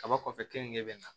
Kaba kɔfɛ keninge bɛ na